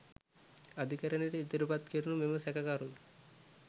අධිකරණයට ඉදිරිපත් කෙරුණු මෙම සැකකරු